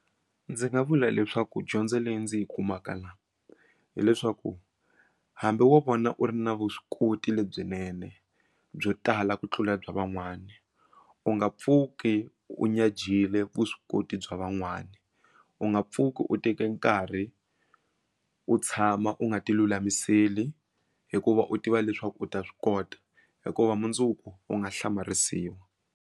Ndzi nga vula leswaku dyondzo leyi ndzi yi kumaka la hileswaku hambi wo vona u ri na vuswikoti lebyinene byo tala ku tlula bya van'wana u nga pfuki u nyajiyile vuswikoti bya van'wana u nga pfuki u teke nkarhi u tshama u nga ti lulamiseli hikuva u tiva leswaku u ta swi kota hikuva mundzuku u nga hlamarisiwa.